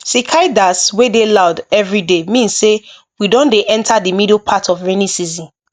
cicadas wey dey loud every day mean say we don dey enter the middle part of rainy season